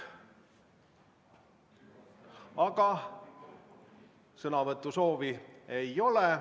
Aga sõnavõtusoovi ei ole.